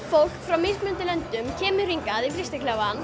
fólk frá mismunandi löndum kemur hingað í